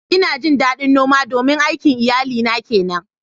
Ina jin ɗaɗin noma domin aikin iyalina ke nan.